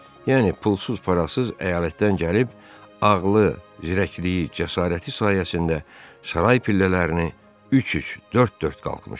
Yəni pulsuz-parasız əyalətdən gəlib, ağlı, zirəkliyi, cəsarəti sayəsində saray pillələrini üç-üç, dörd-dörd qalxmışdı.